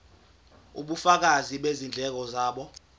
ubufakazi bezindleko zabo